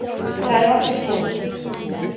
Það er okkar skoðun.